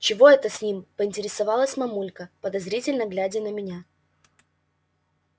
чего это с ним поинтересовалась мамулька подозрительно глядя на меня